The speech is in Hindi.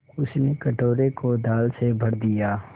उसने कटोरे को दाल से भर दिया